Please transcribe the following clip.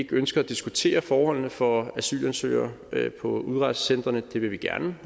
ønsker at diskutere forholdene for asylansøgere på udrejsecentrene det vil vi gerne